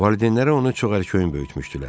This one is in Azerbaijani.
Valideynləri onu çox ərkəyin böyütmüşdülər.